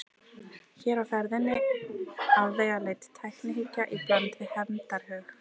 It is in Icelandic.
Hér er á ferðinni afvegaleidd tæknihyggja í bland við hefndarhug.